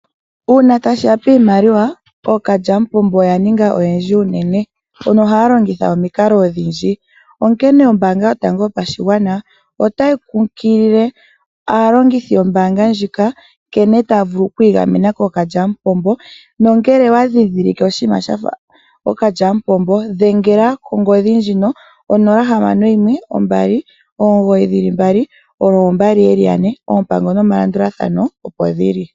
Uuna tashi ya piimaliwa ookalyamupombo oya ninga oyendji uunene mbono haya longitha omikalo odhindji. Onkene ombaanga yotango yopashigwana otayi kunkilile aalongithi yombaanga ndjika nkene taya vulu okwiigamena kookalyamupombo nongele owandhindhilike ookalyamupombo, dhengela konomola ndjika 0612992222. Oompango nomalandulathano opo dhili.